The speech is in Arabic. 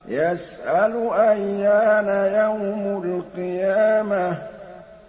يَسْأَلُ أَيَّانَ يَوْمُ الْقِيَامَةِ